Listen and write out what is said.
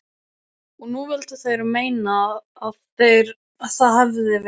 Og nú vildu þeir meina að það hefðu verið